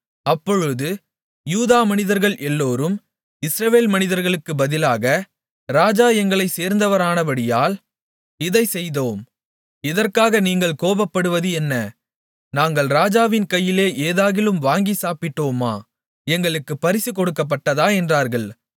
அப்பொழுது யூதா மனிதர்கள் எல்லோரும் இஸ்ரவேல் மனிதர்களுக்கு பதிலாக ராஜா எங்களைச் சேர்ந்தவரானபடியால் இதைச் செய்தோம் இதற்காக நீங்கள் கோபப்படுவது என்ன நாங்கள் ராஜாவின் கையிலே ஏதாகிலும் வாங்கி சாப்பிட்டோமா எங்களுக்குப் பரிசு கொடுக்கப்பட்டதா என்றார்கள்